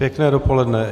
Pěkné dopoledne.